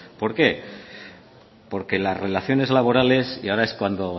por qué porque las relaciones laborales y ahora es cuando